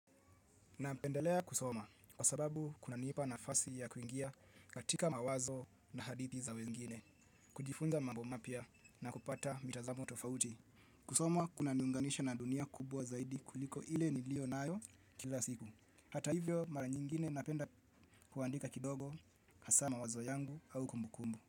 Napendelea kusoma kwa sababu kunanipa nafasi ya kuingia katika mawazo na hadithi za wengine, kujifunza mambo mapya na kupata mitazamo tofauti. Kusoma kunaniunganisha na dunia kubwa zaidi kuliko ile niliyo nayo kila siku. Hata hivyo mara nyingine napenda kuandika kidogo hasa mawazo yangu au kumbukumbu.